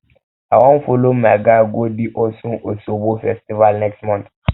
i wan folo my guy go di osun osogbo festival next month